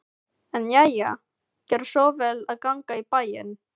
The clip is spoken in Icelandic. En jæja, gerðu svo vel að ganga í bæinn.